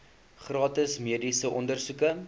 gratis mediese ondersoeke